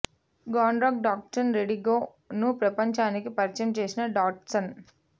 గ్రాండ్గా Datsun Redi Go ను ప్రపంచానికి పరిచయం చేసిన డాట్సన్